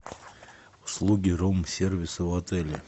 услуги рум сервиса в отеле